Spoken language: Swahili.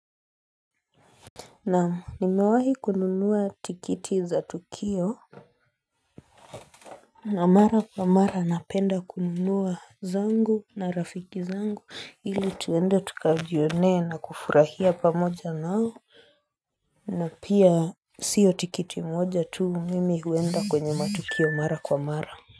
Na'am, nimewahi kununuwa tikiti za tukio na mara kwa mara napenda kununuwa zangu na rafiki zangu ili tuende tukajionee na kufurahia pamoja nao na pia sio tikiti moja tuu, mimi huenda kwenye matukio mara kwa mara.